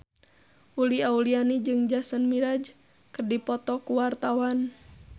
Uli Auliani jeung Jason Mraz keur dipoto ku wartawan